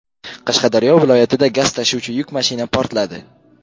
Qashqadaryo viloyatida gaz tashuvchi yuk mashina portladi .